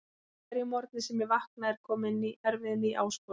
Á hverjum morgni sem ég vakna er komin erfið ný áskorun.